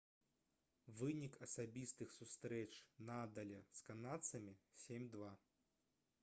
вынік асабістых сустрэч надаля з канадцам 7-2